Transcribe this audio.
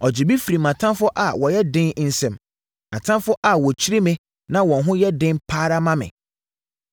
Ɔgyee me firii mʼatamfoɔ a wɔyɛ den nsam, atamfoɔ a wɔkyiri me na wɔn ho yɛ den pa ara ma me.